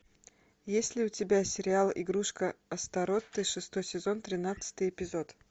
есть ли у тебя сериал игрушка астаротты шестой сезон тринадцатый эпизод